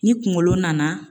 Ni kungolo nana